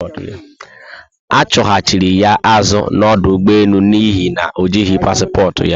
Achuhachiri ya azu na ọdụ ụgbọelu n'ihi na ojihi paspọtụ ya